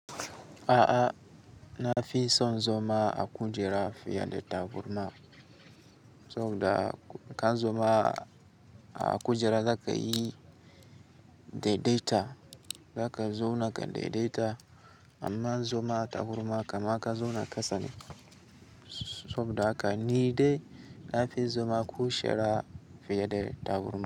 A'a na fi son zoma a kujera fiye da taburma, saboda ka zoma a kujera zaka yi daidaita, zaka zauna kan daidaita. Amma zoma a taburma kamaka zauna a kasa ne, saboda haka ni dai na fi zoma a kujera fiye da taburma.